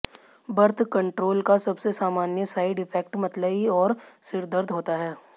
birth control का सबसे सामान्य साइड इफेक्ट मतली और सिरदर्द होता है